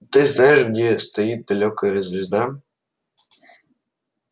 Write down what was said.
ты знаешь где стоит далёкая звезда